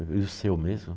E o seu mesmo?